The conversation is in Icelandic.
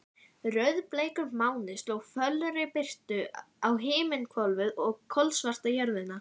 Rauðbleikur máni sló fölri birtu á himinhvolfið og kolsvarta jörðina.